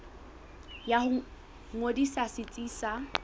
ya ho ngodisa setsi sa